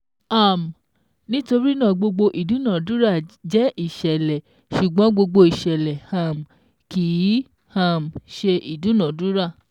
um Nítorínà gbogbo ìdúnadúrà jẹ́ ìṣẹ̀lẹ̀ ṣùgbọ́n gbogbo ìṣẹ̀lẹ̀ um kíì um ṣe ìdúnadúrà